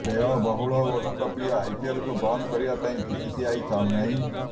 ବ୍ୟୟବହୂଳ ଓ ଲୋକପ୍ରିୟ ଆଇପିଏଲକୁ ବନ୍ଦ କରିବା ପାଇଁ ବିସିସିଆଇ ଚାହୁଁନାହିଁ